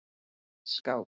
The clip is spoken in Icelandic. Skák